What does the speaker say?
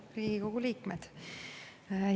Head Riigikogu liikmed!